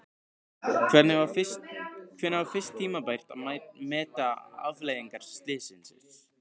Hvenær var fyrst tímabært að meta afleiðingar slyssins?